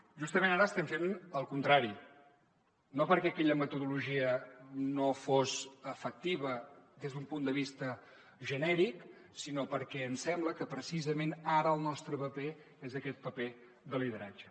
justament ara estem fent el contrari no perquè aquella metodologia no fos efectiva des d’un punt de vista genèric sinó perquè ens sembla que precisament ara el nostre paper és aquest paper de lideratge